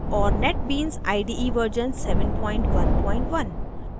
और netbeans ide 711